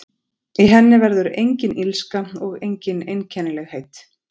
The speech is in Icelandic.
Í henni verður engin illska og engin einkennilegheit.